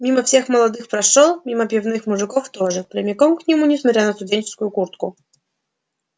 мимо всех молодых прошёл мимо пивных мужиков тоже прямиком к нему несмотря на студенческую куртку